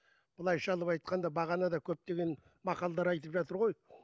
былайша алып айтқанда бағана да көптеген мақалдар айтып жатыр ғой